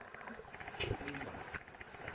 ximba